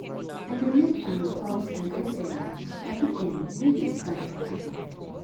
I dey make am because I get um paddy dem wey dey stand for my back.